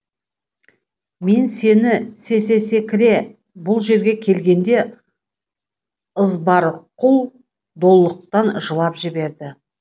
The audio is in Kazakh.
мен сені се се секре бұл жерге келгенде ызбарқұл долықтан жылап жіберді